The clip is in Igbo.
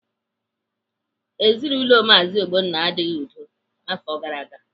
Ezinaụlọ Maazi Ogbonna adịghị n'udo afọ gara aga